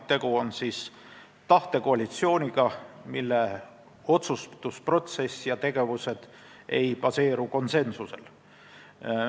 Tegu on tahtekoalitsiooniga, mille otsustusprotsess ja tegevused ei baseeru konsensusel.